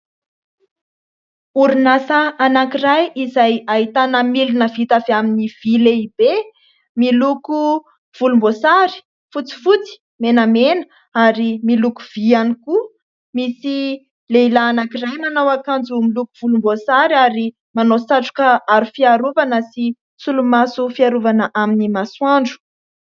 Orinasa anankiray, izay ahitana milina vita avy amin'ny vy lehibe miloko volomboasary, fotsifotsy, menamena, ary miloko vy ihany koa. Misy lehilahy anankiray manao akanjo miloko volomboasary, ary manao satroka aro fiarovana, sy solomaso fiarovana amin'ny masoandro.